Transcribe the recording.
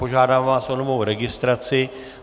Požádám vás o novou registraci.